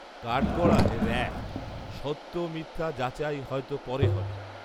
কাঠগড়ায় র‍্যাব, সত্য মিথ্যা যাচাই হয়তো পরে হবে